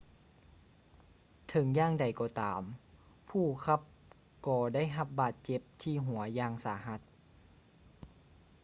ເຖິງຢ່າງໃດກໍຕາມ ຜູ້ຂັບກໍໄດ້ຮັບບາດເຈັບທີ່ຫົວຢ່າງສາຫັດ